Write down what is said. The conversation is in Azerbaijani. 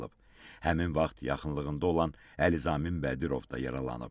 Həmin vaxt yaxınlığında olan Əlizamin Bədirov da yaralanıb.